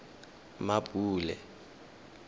mmapule